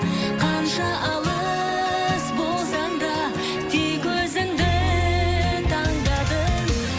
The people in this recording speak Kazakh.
қанша алыс болсаң да тек өзіңді таңдадым